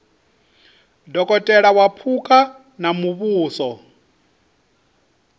dokotela wa phukha wa muvhuso